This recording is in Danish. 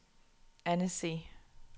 Annecy